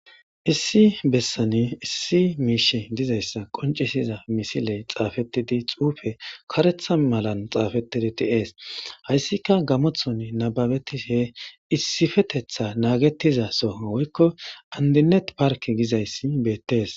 Issi bessani issi miishshey dizayssa qoncisiza misiley xaafettidi xuufe kareeththa malan xaafetidi dei'ees hayssika gammoththon nababetishshe issifetetha naagetiza soha woykko andinet park gizayssi beettees